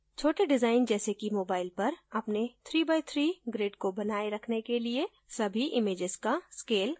छोटे डिवाइज जैसे कि mobile पर अपने 3 by 3 grid को बनाये रखने के लिए सभी इमैजेस का scale कम हो जाता है